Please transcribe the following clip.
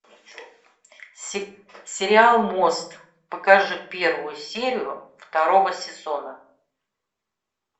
сериал мост покажи первую серию второго сезона